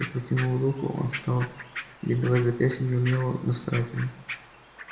я протянул руку он стал бинтовать запястье неумело но старательно